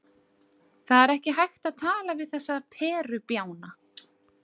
Það er ekki hægt að tala við þessa perubjána.